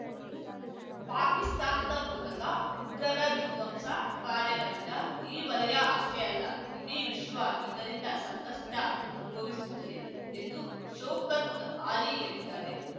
ಪಾಕಿಸ್ತಾನದ ಮೂಲಕ ಉಗ್ರರ ವಿಧ್ವಂಸ ಕಾರ್ಯಗಳಿಂದ ಈ ವಲಯ ಅಷ್ಟೇ ಅಲ್ಲ ಇಡೀ ವಿಶ್ವ ಇದರಿಂದ ಸಂಕಷ್ಟ ಅನುಭವಿಸುತ್ತದೆ ಎಂದೂ ಶೌಕತ್ ಆಲಿ ಹೇಳಿದ್ದಾರೆ